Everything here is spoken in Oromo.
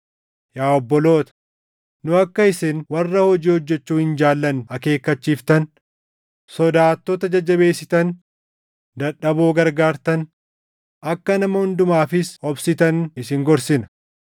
Yaa obboloota, nu akka isin warra hojii hojjechuu hin jaallanne akeekkachiiftan, sodaattota jajjabeessitan, dadhaboo gargaartan, akka nama hundumaafis obsitan isin gorsina.